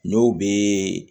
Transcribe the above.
N'o bɛ